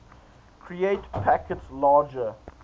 create packets larger